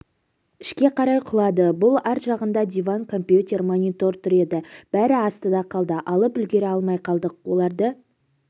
ішке қарай құлады бұл арт жағында диван компьютер монитор тұр еді бәрі астында қалды алып үлгере алмай қалдық оларды